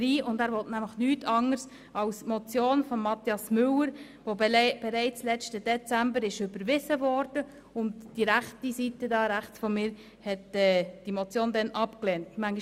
Er beabsichtigt nichts Anderes als die Motion von Grossrat Mathias Müller, die bereits letzten Dezember überwiesen und von der linken Seite abgelehnt wurde.